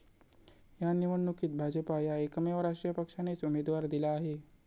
या निवडणुकीत भाजपा या एकमेव राष्ट्रीय पक्षानेच उमेदवार दिला आहे.